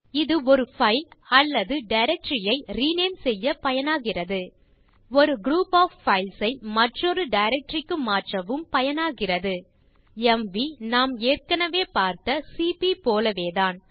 இது ஒரு பைல் அல்லது டைரக்டரி ஐ ரினேம் செய்ய பயனாகிறது ஒரு குரூப் ஒஃப் பைல்ஸ் ஐ மற்றொரு டைரக்டரி க்கு மாற்றவும் பயனாகிறது எம்வி நாம் ஏற்கனவே பார்த்த சிபி போலவேதான்